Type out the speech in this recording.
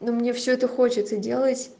но мне всё это хочется делать